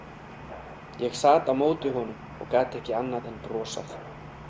Ég sat á móti honum og gat ekki annað en brosað.